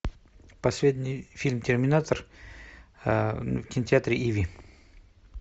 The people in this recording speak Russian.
последний фильм терминатор в кинотеатре иви